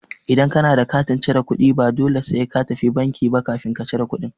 Idan ka na da katin cire kuɗi, ba dole sai ka tafi banki ba kafin ka cire kuɗi.